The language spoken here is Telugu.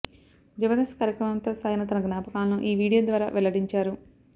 జబర్దస్త్ కార్యక్రమంతో సాగిన తన జ్ఞాపకాలను ఈ వీడియో ద్వారా వెల్లడించారు